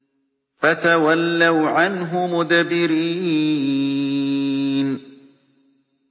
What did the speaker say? فَتَوَلَّوْا عَنْهُ مُدْبِرِينَ